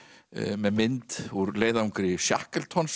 með mynd úr leiðangri